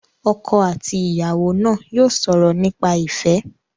Ọkọ àti ìyàwó náà yóò sọ̀rọ̀ nípa ìfẹ́.